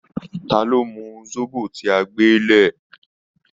Ta lọ́ mu zobo tí a gbé lẹ̀?